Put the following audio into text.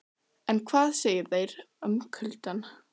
En hvað segja þær um kuldann?